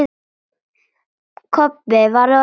Kobbi var orðinn reiður.